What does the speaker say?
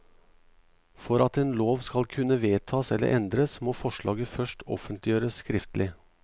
For at en lov skal kunne vedtas eller endres, må forslaget først offentliggjøres skriftlig.